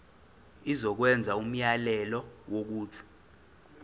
izokwenza umyalelo wokuthi